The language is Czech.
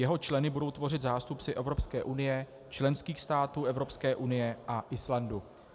Jeho členy budou tvořit zástupci Evropské unie, členských států Evropské unie a Islandu.